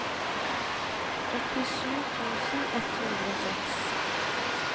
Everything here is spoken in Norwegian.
åttisju tusen ett hundre og seks